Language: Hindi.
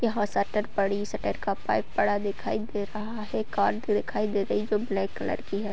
यहाँ शटर पड़ी शटर का पाइप पड़ा दिखाई दे रहा है। कार भी दिखाई दे रही है जो ब्लैक कलर की है।